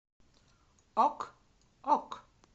ок ок